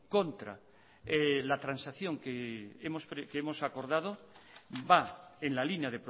contra la transacción que hemos acordado va en la línea